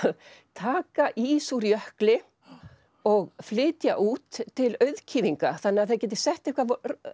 taka ís úr jökli og flytja út til auðkýfinga þannig að þeir geti sett eitthvað